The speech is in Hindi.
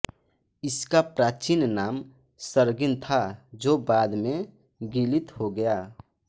इसका प्राचीन नाम सर्गिन था जो बाद में गिलित हो गया